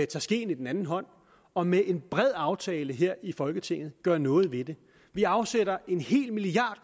tager skeen i den anden hånd og med en bred aftale her i folketinget gør noget ved det vi afsætter en hel milliard